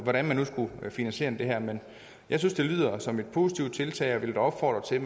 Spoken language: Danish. hvordan man nu skal finansiere det her men jeg synes det lyder som et positivt tiltag og vil da opfordre til at